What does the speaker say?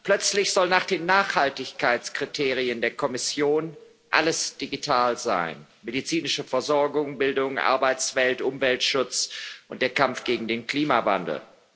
Plötzlich soll nach den Nachhaltigkeitskriterien der Kommission alles digital sein medizinische Versorgung, Bildung, Arbeitswelt, Umweltschutz und der Kampf gegen den Klimawandel.